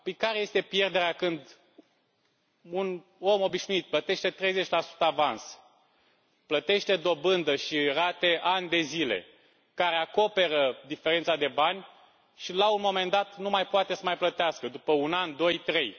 Care este pierderea, când un om obișnuit plătește 30 avans, plătește dobândă și rate ani de zile, care acoperă diferența de bani și, la un moment dat, nu mai poate să mai plătească, după un an, doi, trei?